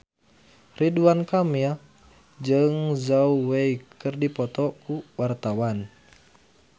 Ridwan Kamil jeung Zhao Wei keur dipoto ku wartawan